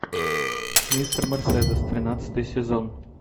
мистер мерседес тринадцатый сезон